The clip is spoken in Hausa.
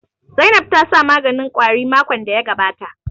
Zainab ta sa maganin ƙwari makon da ya gabata